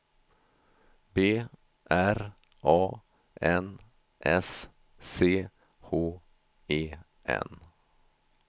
B R A N S C H E N